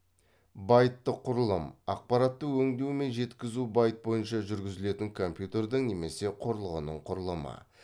байттық құрылым ақпаратты өңдеу мен жеткізу байт бойынша жүргізілетін компьютердің немесе құрылғының құрылымы